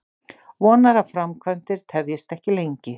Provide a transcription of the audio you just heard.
Vonar að framkvæmdir tefjist ekki lengi